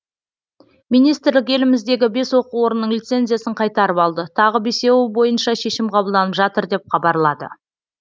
министрлік еліміздегі бес оқу орнының лицензиясын қайтарып алды тағы бесеуі бойынша шешім қабылданып жатыр деп хабарлады